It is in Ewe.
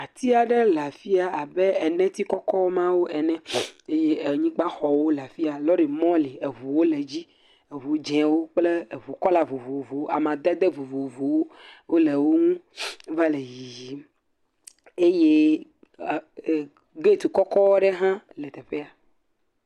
Ati aɖe le afia abe eneti kɔkɔmawo ene eye anyigba xɔwo le afia. Lɔri mɔ li. Eʋuwo le dzi. Eʋu dzĩwo kple eʋu kɔla vovovowo. Amadede vovovowo wole woŋu wovale yiyim eye get kɔkɔ ɖe ha le teƒfea.